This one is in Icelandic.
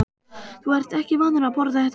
Þú ert ekki vanur að borða þetta svona